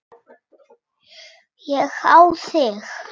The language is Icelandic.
Ég á þig.